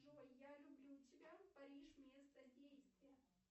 джой я люблю тебя париж место действия